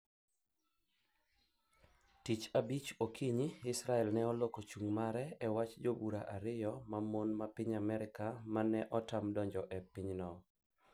Tich abich okinyi Israel ne oloko chung' mare e wach jobura ariyo mamon ma piny Amerka ma ne otam donjo e pinyno